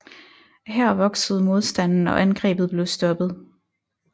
Her voksede modstanden og angrebet blev stoppet